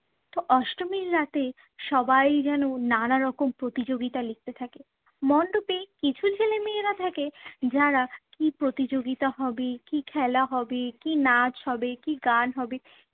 তো অষ্টমীর রাতে সবাই যেন নানা রকম প্রতিযোগিতায় লিপ্ত থাকে, মণ্ডপে কিছু ছেলে মেয়েরা থাকে যারা কী প্রতিযোগিতা হবে, কী খেলা হবে, কী নাচ হবে, কী গান হবে